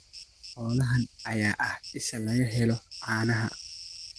Xoolahan ayaa ah isha laga helo caanaha.